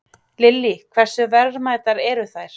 Lillý: Hversu verðmætar eru þær?